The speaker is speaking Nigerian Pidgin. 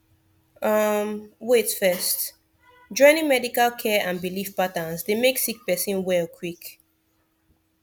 um wait firstjoining medical care and biliv patterns dey mek sik person well quick